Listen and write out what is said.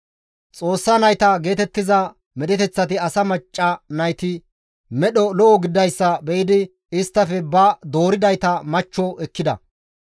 «Xoossa nayta» geetettiza medheteththati asa macca nayti medho lo7o gididayssa be7idi isttafe ba dooridayta machcho ekkida.